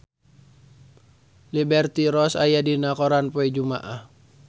Liberty Ross aya dina koran poe Jumaah